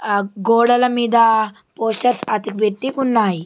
ఆ గోడల మీద పోస్టర్ అతక బెట్టి ఉన్నాయి.